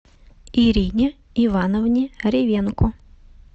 ирине ивановне ревенко